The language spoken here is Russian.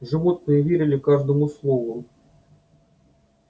животные верили каждому слову